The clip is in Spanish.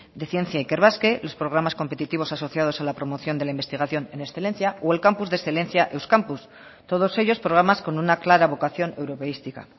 de ciencia ikerbasque los programas competitivos asociados a la promoción de la investigación en excelencia o el campus de excelencia euskampus todos ellos programas con una clara vocación europeística